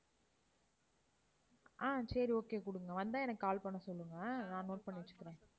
ஆஹ் சரி okay கொடுங்க. வந்தா எனக்கு call பண்ண சொல்லுங்க. அஹ் நான் note பண்ணி வச்சுக்கிறேன்.